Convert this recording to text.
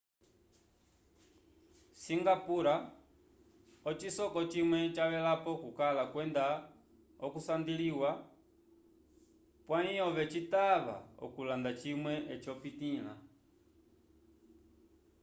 singapura ocisoko cimwe cavelapo okukala kwenda okunsandilya pwayi ove citava okulanda cimwe eci opitila